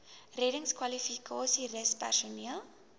reddingskwalifikasies rus personeel